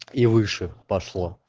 и выше пошло